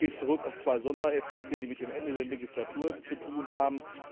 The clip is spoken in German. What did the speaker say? Das geht zurück auf zwei Sondereffekte, die mit dem Ende der Legislatur zu tun haben.